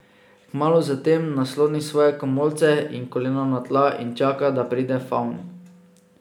Kmalu zatem nasloni svoje komolce in kolena na tla in čaka, da pride favn.